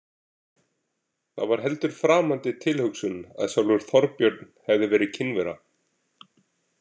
Það var heldur framandi tilhugsun að sjálfur Þorbjörn hefði verið kynvera.